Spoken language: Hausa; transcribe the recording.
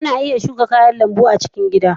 Ana iya shuka kayan lambu a cikin gida.